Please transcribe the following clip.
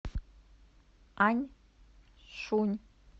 аньшунь